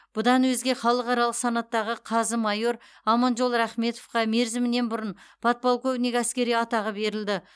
бұдан өзге халықаралық санаттағы қазы майор аманжол рахметовқа мерзімінен бұрын подполковник әскери атағы берілді